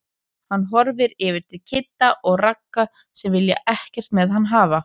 Hann horfir yfir til Kidda og Ragga sem vilja ekkert með hann hafa.